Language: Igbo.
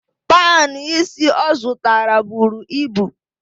Panụ ísí ọ zụtara buru ibu.